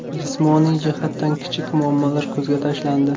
Jismoniy jihatdan kichik muammolar ko‘zga tashlandi.